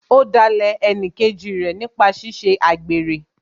Ó dalẹ̀ ẹnìkejì rẹ̀ nípa ṣíṣe àgbèrè